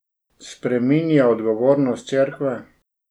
Spreminja odgovornost cerkve?